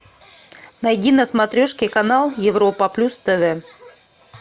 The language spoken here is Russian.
найди на смотрешке канал европа плюс тв